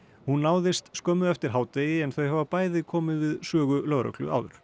hún náðist skömmu eftir hádegi en þau hafa bæði komið við sögu lögreglu áður